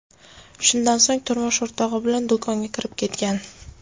Shundan so‘ng turmush o‘rtog‘i bilan do‘konga kirib ketgan.